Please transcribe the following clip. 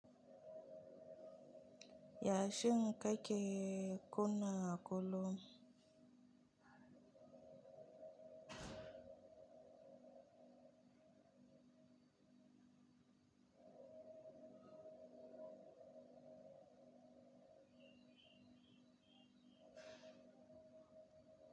Ya shin kake kunna kullum?